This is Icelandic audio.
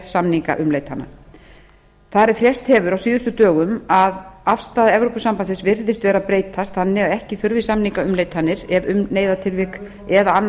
samningaumleitana þar eð frést hefur á síðustu dögum að afstaða evrópusambandsins virðist vera að breytast þannig að ekki þurfi samningaumleitanir ef um neyðartilvik eða annað